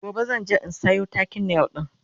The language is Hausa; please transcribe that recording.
gobe zan je in Sayo takin nail ɗin